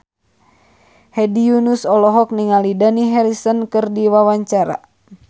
Hedi Yunus olohok ningali Dani Harrison keur diwawancara